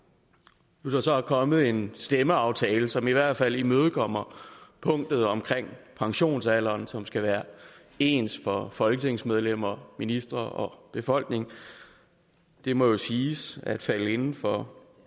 nu er der så kommet en stemmeaftale som i hvert fald imødekommer punktet om pensionsalderen som skal være ens for folketingsmedlemmer ministre og befolkning det må jo siges at falde inden for